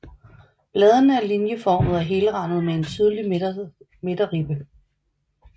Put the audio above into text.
Bladene er linjeformede og helrandede med én tydelig midterribbe